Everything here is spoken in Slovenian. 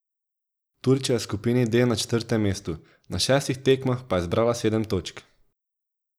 Turčija je v skupini D na četrtem mestu, na šestih tekmah pa je zbrala sedem točk.